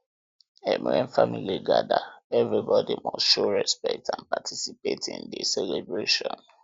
when family gather everybody must show respect and participate in di um celebration